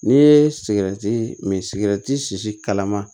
N'i ye sigɛrɛti min sigɛrɛti sisi kalama